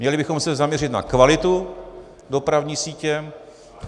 Měli bychom se zaměřit na kvalitu dopravní sítě.